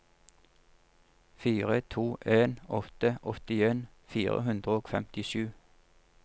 fire to en åtte åttien fire hundre og femtisju